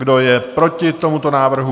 Kdo je proti tomuto návrhu?